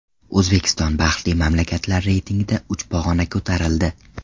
O‘zbekiston baxtli mamlakatlar reytingida uch pog‘ona ko‘tarildi.